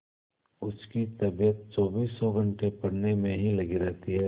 उसकी तबीयत चौबीसों घंटे पढ़ने में ही लगी रहती है